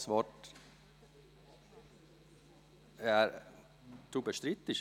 Jakob Schwarz, Sie bestreiten?